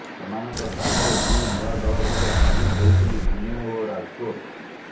ଏମାନଙ୍କ ସ୍ଥାନରେ ଦୁଇ ନୂଆ ଦଳ ଭାବେ ସାମିଲ ହୋଇଛନ୍ତି ପୁନେ ଓ ରାଜକୋଟ